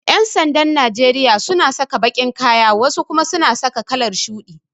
Yan'sandan Najeriya suna saka baƙin kaya wasu kuma suna saka kalar shuɗi.